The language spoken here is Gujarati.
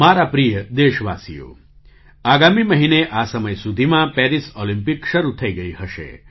મારા પ્રિય દેશવાસીઓ આગામી મહિને આ સમય સુધીમાં પેરિસ ઑલિમ્પિક શરૂ થઈ ગઈ હશે